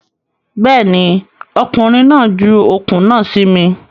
Bẹ́ẹ̀ ni, ọkùnrin náà ju okùn náà sí mi.